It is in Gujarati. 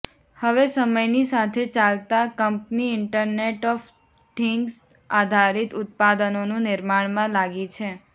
હવે સમયની સાથે ચાલતા કંપની ઈન્ટરનેટ ઓફ થિન્ગ્સ આધારિત ઉત્પાદનોનું નિર્માણમાં લાગી છે